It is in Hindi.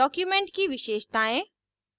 document की विशेषतायें